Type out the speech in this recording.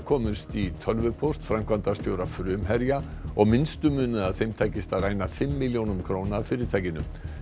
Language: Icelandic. komust í tölvupóst framkvæmdastjóra Frumherja og minnstu munaði að þeim tækist að ræna fimm milljónum króna af fyrirtækinu